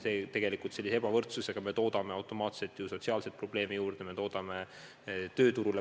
Tegelikult me aga sellise ebavõrdsusega toodame automaatselt sotsiaalseid probleeme juurde, sealhulgas probleeme ka tööturul.